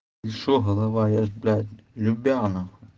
и что голова я же блять любя нахуй